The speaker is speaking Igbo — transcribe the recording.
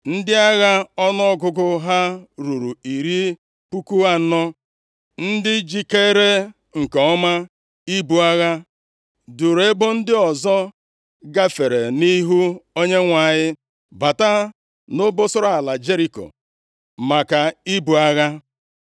Ndị agha ọnụọgụgụ ha ruru iri puku anọ (40,000), ndị jikeere nke ọma ibu agha, duuru ebo ndị ọzọ, gafere nʼihu Onyenwe anyị bata nʼobosara ala Jeriko maka ibu agha.